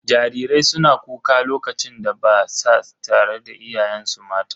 Jarirai suna kuka lokacin da ba sa tare da iyayensu mata.